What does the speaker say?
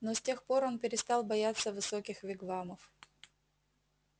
но с тех пор он перестал бояться высоких вигвамов